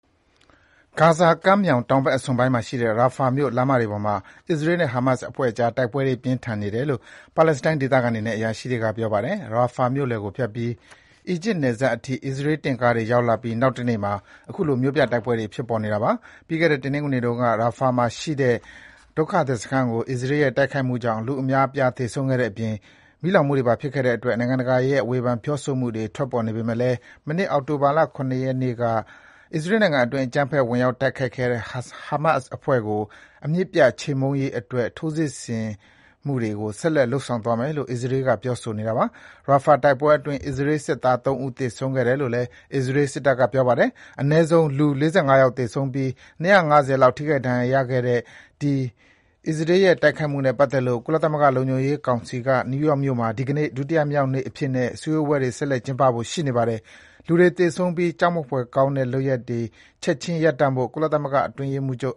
ဂါဇာကမ်းမြောင် တောင်ဘက်အစွန်ပိုင်းမှာရှိတဲ့ Rafah မြို့ လမ်းမတွေပေါ်မှာ အစ္စရေးနဲ့ ဟာမတ်စ်အဖွဲ့အကြား တိုက်ပွဲတွေ ပြင်းထန်နေတယ်လို့ ပါလက်စတိုင်းဒေသခံတွေနဲ့ အရာရှိတွေက ပြောပါတယ်။ Rafah မြို့လယ်ကိုဖြတ်ပြီး အီဂျစ်နယ်စပ်အထိ အစ္စရေး တင့်ကားတွေ ဝင်ရောက်လာပြီး နောက်တနေ့မှာ အခုလို မြို့ပြတိုက်ပွဲတွေ ဖြစ်ပေါ်နေတာပါ။ ပြီးခဲ့တဲ့ တနင်္ဂနွေနေ့တုန်းက Rafah မှာရှိတဲ့ ဒုက္ခသည်စခန်းကို အစ္စရေးရဲ့ တိုက်ခိုက်မှုကြောင့် လူအများအပြား သေဆုံးတဲ့အပြင် မီးလောင်မှုတွေပါ ဖြစ်ခဲ့တဲ့အတွက် နိုင်ငံတကာရဲ့ ဝေဖန် ပြောဆိုမှုတွေ ထွက်ပေါ်နေပေမယ့်လည်း မနှစ် အောက်တိုဘာ ၇ ရက်နေ့က အစ္စရေးနိုင်ငံအတွင်း အကြမ်းဖက် ဝင်ရောက် တိုက်ခိုက်ခဲ့တဲ့ ဟာမတ်စ်အဖွဲ့ကို အမြစ်ပြတ် ချေမှုန်းရေးအတွက် ထိုးစစ်တွေ ဆက်လက် လုပ်ဆောင်သွားမယ်လို့ အစ္စရေးက ပြောဆိုနေတာပါ။ Rafah တိုက်ပွဲတွေအတွင်း အစ္စရေးစစ်သား ၃ ဦး သေဆုံးခဲ့တယ်လို့ အစ္စရေး စစ်တပ်က ပြောပါတယ်။ အနည်းဆုံး လူ ၄၅ ယောက် သေဆုံးပြီး ၂၅၀ လောက် ထိခိုက် ဒဏ်ရာရခဲ့တဲ့ အဲဒီ အစ္စရေးရဲ့တိုက်ခိုက်မှုနဲ့ပတ်သက်လို့ ကုလသမဂ္ဂ လုံခြုံရေးကောင်စီက နယူးယောက်မြို့မှာ ဒီကနေ့ ဒုတိယမြောက်နေ့အဖြစ်နဲ့ စည်းဝေးပွဲ ဆက်လက် ကျင်းပဖို့ ရှိနေပါတယ်။ လူတွေ သေဆုံးပြီး ကြောက်မက်ဖွယ်ကောင်းတဲ့ လုပ်ရပ်တွေ ချက်ခြင်းရပ်တန့်ဖို့ ကုလသမဂ္ဂအတွင်းရေးမှူးချုပ်